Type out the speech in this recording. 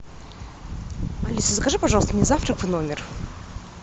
алиса закажи пожалуйста мне завтрак в номер